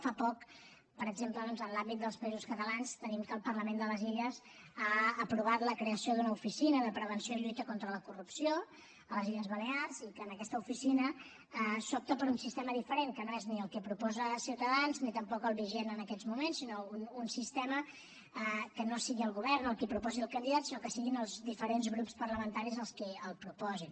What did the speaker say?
fa poc per exemple doncs en l’àmbit dels països catalans tenim que el parlament de les illes ha aprovat la creació d’una oficina de prevenció i lluita contra la corrupció a les illes balears i que en aquesta oficina s’opta per un sistema diferent que no és ni el que proposa ciutadans ni tampoc el vigent en aquests moments sinó un sistema que no sigui el govern el qui proposi el candidat sinó que siguin els diferents grups parlamentaris els qui el proposin